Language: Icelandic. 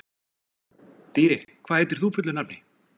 Dýri, hvað heitir þú fullu nafni?